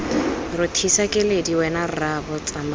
rothisa keledi wena rraabo tsamaya